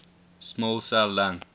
small cell lung